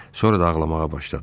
Sonra da ağlamağa başladı.